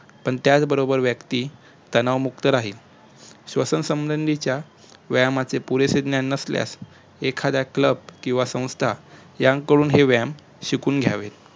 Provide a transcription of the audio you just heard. पण त्याचबरबोर व्यक्ती तणावमुक्त राहील श्वसन संबंधीच्या वायमाचे पुरेसे ज्ञान नसल्यास एखाद्या club किंवा संस्था यांकडून हे व्यायाम शिकुन घ्यावेत